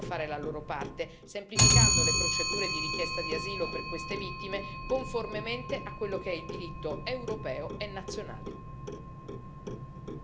E anche gli Stati membri devono fare la loro parte, semplificando le procedure di richiesta di asilo per queste vittime, conformemente a quello che è il diritto europeo e nazionale.